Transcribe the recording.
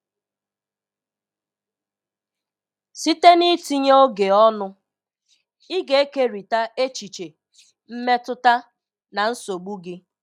Site n'itinye oge ọnụ, ị ga-ekerịta echiche, mmetụta, na nsogbu gị.